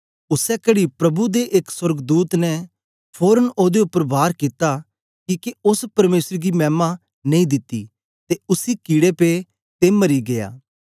उसै कड़ी प्रभु दे एक सोर्गदूत ने फोरन ओदे उपर वार कित्ता किके ओस परमेसर गी मैमा नेई दिती ते उसी कीड़े पे ते मरी गीया